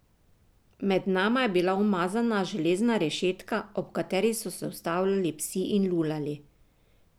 Med nama je bila umazana železna rešetka, ob kateri so se ustavljali psi in lulali.